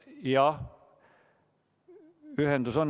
Siiski, ühendus on.